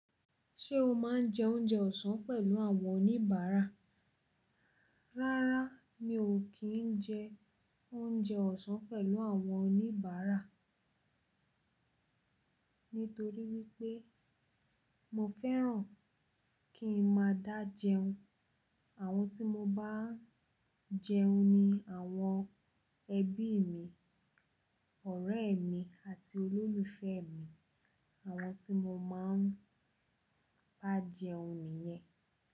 Ṣé o máa ń jẹ oúnjẹ ọ̀sán pẹ̀lú àwọn oníbàárà? Rárá, mi ò kí ń jẹ oúnjẹ ọ̀sán pẹ̀lú àwọn oníbàárà. Nítorí wípé mo fẹ́ràn kí n máa dá jẹun. Àwọn tí mo bá ń jẹun ni àwọn ẹbí mi, ọ̀rẹ́ mi, àti olólùfẹ́ mi. Àwọn tí mo máa ń bá jẹun nìyẹn.